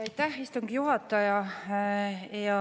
Aitäh, istungi juhataja!